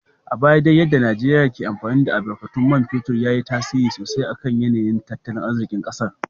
A baya dai yadda Najeriyar ke amfani da albarkatun man fetur ya yi tasiri sosai kan yanayin tattalin arzikin kasar.